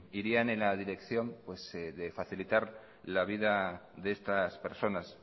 irían en la dirección de facilitar la vida de estas personas